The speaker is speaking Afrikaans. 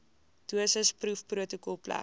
dosis proefprotokol plek